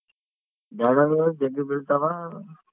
banner ಗಳು ಜಗ್ಗಿ ಬೀಳ್ತಾವ.